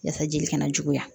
Yasa jeli kana juguya